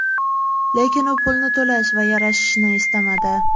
Lekin u pulni to‘lash va yarashishni istamadi.